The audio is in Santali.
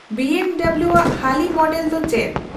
ᱵᱤ ᱮᱢ ᱰᱚᱵᱞᱩ ᱣᱟᱜ ᱦᱟᱹᱞᱤ ᱢᱚᱰᱮᱞ ᱫᱚ ᱪᱮᱫ